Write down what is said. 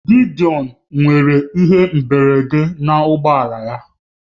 Gideon nwere ihe mberede na ụgbọ ala ya